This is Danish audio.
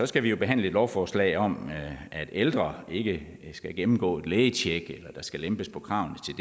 skal vi behandle et lovforslag om at ældre ikke skal gennemgå et lægetjek eller at der skal lempes på kravene